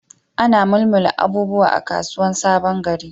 Ana mulmula abubuwa a kasuwan sabon gari.